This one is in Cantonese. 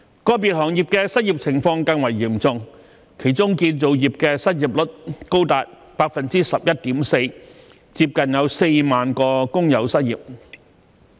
個別行業的失業情況更為嚴重，其中建造業的失業率高達 11.4%， 接近4萬名工友失業。